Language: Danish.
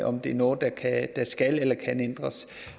om det er noget der skal eller kan ændres